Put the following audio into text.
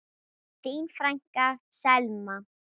Þín frænka, Selma.